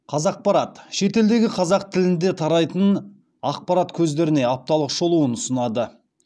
қазақпарат шетелдегі қазақ тілінде тарайтын ақпарат көздеріне апталық шолуын ұсынады